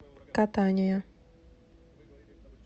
катания